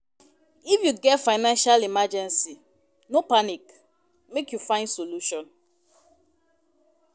If you get financial emergency, no panic, make you find solution.